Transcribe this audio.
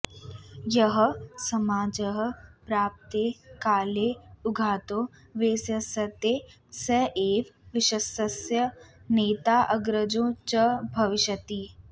यः समाजः प्राप्ते काले उद्यतो वेत्स्यते स एव विश्वस्य नेता अग्रजो च भविष्यति